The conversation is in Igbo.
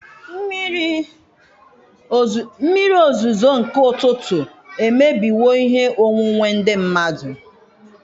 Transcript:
Mmiri ozuzo nke ụtụtụ emebiwo ihe onwunwe ndị mmadụ.